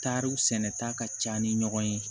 Tariw sɛnɛta ka ca ni ɲɔgɔn ye